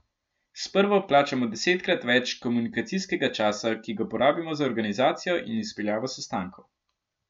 S prvo plačamo desetkrat več komunikacijskega časa, ki ga porabimo za organizacijo in izpeljavo sestankov.